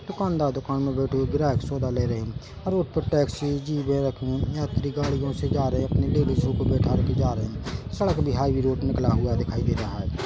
दुकानदार दुकान में बैठे हुए ग्राहक सौदा ले रही हैऔर ऊपर टैक्सी जीबे रखी है ये अपनी गाड़ियों से जा रहे है अपनी लेडिसो को बिठा के जा रहे है सड़क भी हाईवे रोड निकला दिखाई दे रहा है।